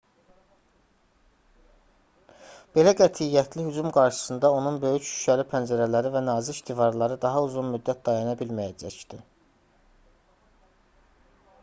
belə qətiyyətli hücum qarşısında onun böyük şüşəli pəncərələri və nazik divarları daha uzun müddət dayana bilməyəcəkdi